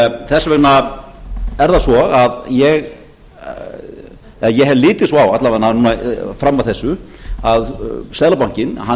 þess vegna er það svo að ég hef litið svo á alla vegana fram að þessu að seðlabankinn hann